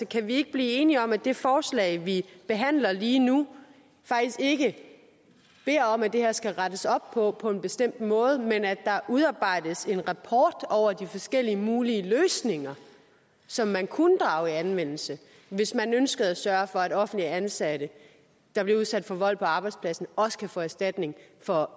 kan vi ikke blive enige om at det forslag vi behandler lige nu faktisk ikke er om at der skal rettes op på det på en bestemt måde men handler om at der udarbejdes en rapport over de forskellige mulige løsninger som man kunne drage i anvendelse hvis man ønsker at sørge for at offentligt ansatte der bliver udsat for vold på arbejdspladsen også kan få erstatning for